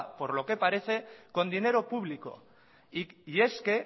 por lo que parece con dinero público y es que